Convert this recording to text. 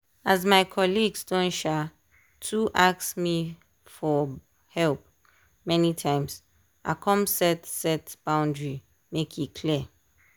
as my colleague don um too ask me for help many times i come set set boundary make e clear.